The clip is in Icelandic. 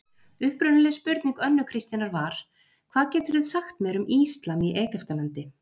Upprunaleg spurning Önnu Kristínar var: Hvað geturðu sagt mér um íslam í Egyptalandi?